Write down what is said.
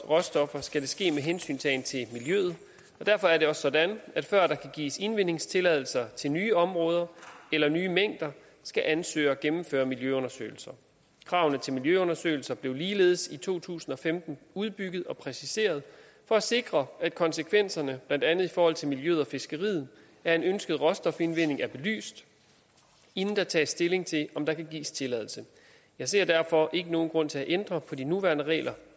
råstoffer skal det ske med hensyntagen til miljøet og derfor er det også sådan at før der kan gives indvindingstilladelser til nye områder eller nye mængder skal ansøgere gennemføre miljøundersøgelser kravene til miljøundersøgelser blev ligeledes i to tusind og femten udbygget og præciseret for at sikre at konsekvenserne blandt andet i forhold til miljøet og fiskeriet af en ønsket råstofindvinding er belyst inden der tages stilling til om der kan gives tilladelse jeg ser derfor ikke nogen grund til at ændre på de nuværende regler